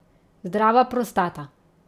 Zdrava prostata.